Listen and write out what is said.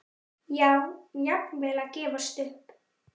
Já, jafnvel að gefast upp.